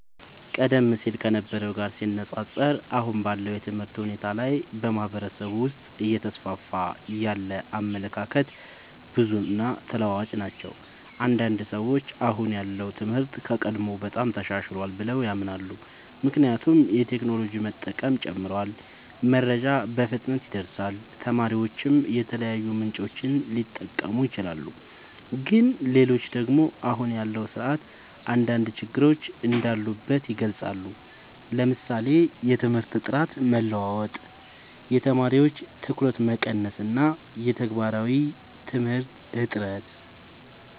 ቀደም ሲል ከነበረው ጋር ሲነፃፀር፣ አሁን ባለው የትምህርት ሁኔታ ላይ በማህበረሰብ ውስጥ እየተስፋፉ ያሉ አመለካከቶች ብዙ እና ተለዋዋጭ ናቸው። አንዳንድ ሰዎች አሁን ያለው ትምህርት ከቀድሞው በጣም ተሻሽሏል ብለው ያምናሉ። ምክንያቱም የቴክኖሎጂ መጠቀም ጨምሯል፣ መረጃ በፍጥነት ይደርሳል፣ ተማሪዎችም የተለያዩ ምንጮችን ሊጠቀሙ ይችላሉ። ግን ሌሎች ደግሞ አሁን ያለው ስርዓት አንዳንድ ችግሮች እንዳሉበት ይገልጻሉ፤ ለምሳሌ የትምህርት ጥራት መለዋወጥ፣ የተማሪዎች ትኩረት መቀነስ እና የተግባራዊ ትምህርት እጥረት።